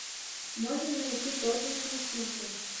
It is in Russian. можно найти тоттенхэм сити